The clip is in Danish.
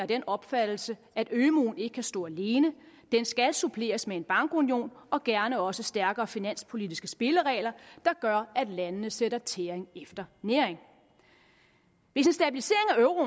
den opfattelse at ømuen ikke kan stå alene den skal suppleres med en bankunion og gerne også stærkere finanspolitiske spilleregler der gør at landene sætter tæring efter næring hvis